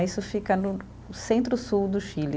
Isso fica no no centro-sul do Chile.